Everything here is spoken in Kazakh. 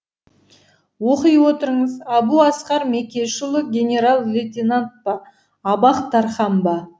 оқи отырыңыз әбу асқар мекешұлы генерал лейтенант па абақ тархан ба